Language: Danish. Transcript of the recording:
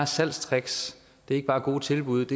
salgstricks eller gode tilbud